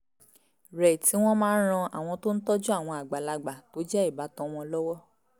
rẹ̀ tí wọ́n máa ń ran àwọn tó ń tọ́jú àwọn àgbàlagbà tó jẹ́ ìbátan wọn lọ́wọ́